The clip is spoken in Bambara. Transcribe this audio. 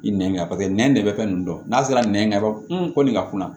I nɛn ka nɛn bɛ fɛn ninnu dɔn n'a sera nɛn bɔ ko nin ka kunna